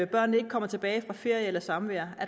børnene ikke kommer tilbage fra ferie eller samvær